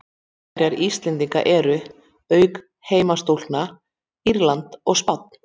Mótherjar Íslendingar eru, auk heimastúlkna, Írland og Spánn.